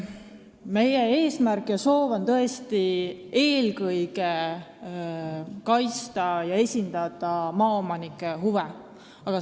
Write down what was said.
Meie eesmärk ja soov on tõesti eelkõige kaitsta ja esindada maaomanike huve.